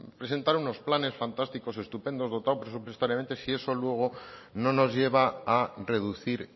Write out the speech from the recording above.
presentar unos planes fantásticos estupendos dotados presupuestariamente si eso luego no nos lleva a reducir